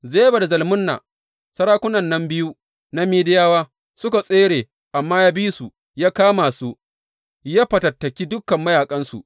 Zeba da Zalmunna, sarakunan biyu na Midiyawa suka tsere, amma ya bi su ya kama, ya fatattaki dukan mayaƙansu.